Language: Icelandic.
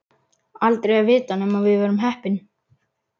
Aldrei að vita nema við verðum heppin.